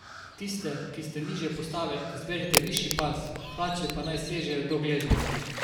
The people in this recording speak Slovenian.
Tiste, ki ste nižje postave, izberite višji pas, hlače pa naj sežejo do gležnjev.